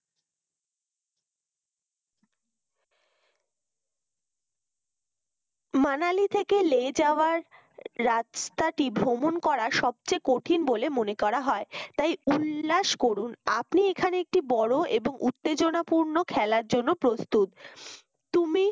মানালি থেকে লে যাওয়ার রাস্তাটি ভ্রমণ করার সবচেয়ে কঠিন বলে মনে করা হয় তাই উল্লাস করুন আপনি এখানে একটি বড় এবং উত্তেজনাপূর্ণ খেলার জন্য প্রস্তুত তুমি